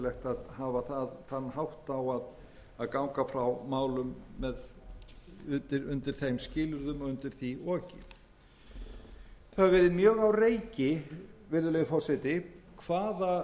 að hafa þann hátt á að ganga frá málum undir þeim skilyrðum og undir því oki það hefur verið mjög á reiki virðulegi forseti hvaða skuldbindingar verið væri að semja um hvað það væri sem í